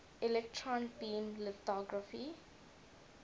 electron beam lithography